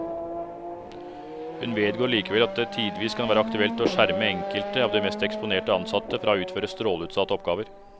Hun vedgår likevel at det tidvis kan være aktuelt å skjerme enkelte av de mest eksponerte ansatte fra å utføre stråleutsatte oppgaver.